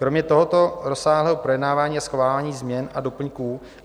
Kromě tohoto rozsáhlého projednávání a schvalování změn a doplňků